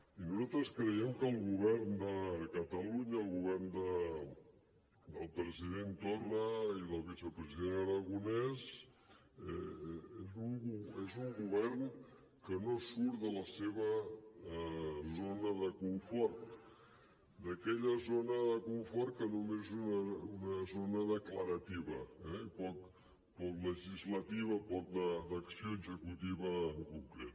i nosaltres creiem que el govern de catalunya el govern del president torra i del vicepresident aragonès és un govern que no surt de la seva zona de confort d’aquella zona de confort que només és una zona declarativa eh i poc legislativa poc d’acció executiva en concret